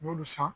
N y'olu san